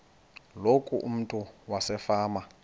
loku umntu wasefama